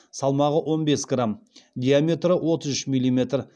салмағы он бес грамм диаметрі отыз үш миллиметр